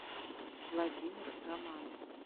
владимир романов